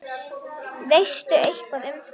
Veistu eitthvað um það?